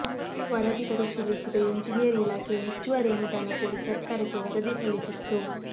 ವರದಿ ಪರಿಶೀಲಿಸಿದ ಎಂಜಿನಿಯರ್ ಇಲಾಖೆ ಹೆಚ್ಚುವರಿ ಅನುದಾನ ಕೋರಿ ಸರಕಾರಕ್ಕೆ ವರದಿ ಸಲ್ಲಿಸಿತ್ತು